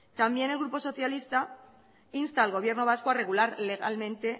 también el grupo socialista insta al gobierno vasco a regular legalmente